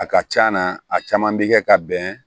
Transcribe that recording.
A ka c'a na a caman bi kɛ ka bɛn